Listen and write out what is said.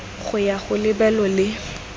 go ya go lebelo le